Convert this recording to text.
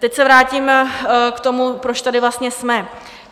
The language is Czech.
Teď se vrátím k tomu, proč tady vlastně jsme.